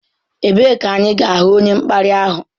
Ebee ka anyị ga-ahụ onye mkparị ahụ?